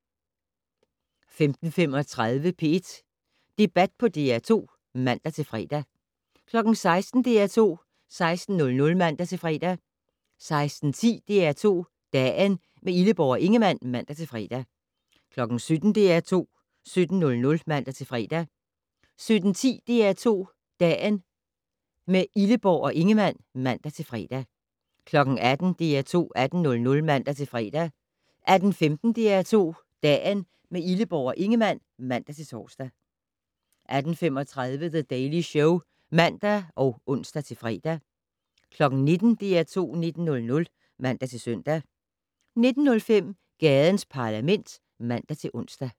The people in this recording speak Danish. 15:35: P1 Debat på DR2 (man-fre) 16:00: DR2 16:00 (man-fre) 16:10: DR2 Dagen - med Illeborg og Ingemann (man-fre) 17:00: DR2 17:00 (man-fre) 17:10: DR2 Dagen - med Illeborg og Ingemann (man-fre) 18:00: DR2 18:00 (man-fre) 18:15: DR2 Dagen - med Illeborg og Ingemann (man-tor) 18:35: The Daily Show (man og ons-fre) 19:00: DR2 19:00 (man-søn) 19:05: Gadens Parlament (man-ons)